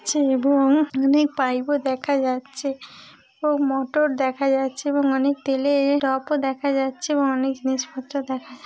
ছে এব-ওং অনেক পাইপ ও দেখা যাচ্ছে এবং মোটর দেখা যাচ্ছে এবং অনেক তেলে-এ-র টপও দেখা যাচ্ছে এবং অনেক জিনিস পত্র দেখা যাচ--